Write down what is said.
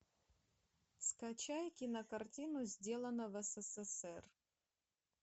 скачай кинокартину сделано в ссср